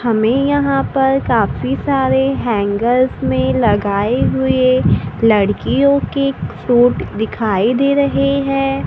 हमें यहां पर काफी सारे हैंगर्स में लगाए हुए लड़कियों के शूट दिखाई दे रही है।